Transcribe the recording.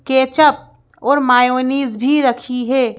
Ketchup और mayonnaise भी रखी है।